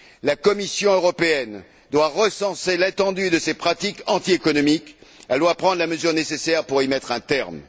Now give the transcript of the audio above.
La Commission européenne doit recenser l'étendue de ces pratiques antiéconomiques, et doit prendre les mesures nécessaires pour y mettre un terme.